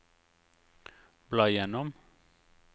bla gjennom